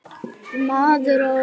Maður á að skulda bönkum.